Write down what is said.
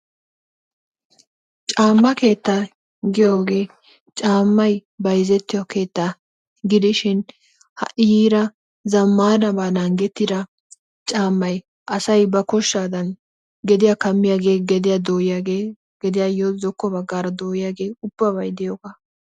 Caama keetaa giyooge caamay bayzzettiyo keettaa gidishin ha'i yiida zamaanaban naagettida caamay asay ba koshaadan geddiya kaamiyage geddiya dooyiyaagee gediyaayo zokko bagaara dooyiyage ubabay diyoogaa.